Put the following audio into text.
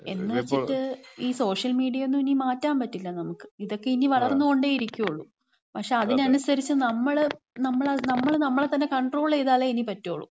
എന്ന് വെച്ചിട്ട് ഈ സോഷ്യൽ മീഡിയയൊന്നും ഇനി മാറ്റാൻ പറ്റില്ല നമക്ക്. ഇതൊക്കെ ഇനി വളർന്ന് കൊണ്ടേ ഇരിക്കുളളൂ. പക്ഷേ, അതിന് അനുസരിച്ച്, നമ്മള്, നമ്മള്, നമ്മള് നമ്മളെ തന്നെ കൺട്രോൾ ചെയ്താലേ ഇനി പറ്റുള്ളു.